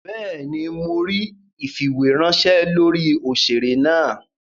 Béèni, Mó ríi ifiweranṣẹ lórí òṣèré náa.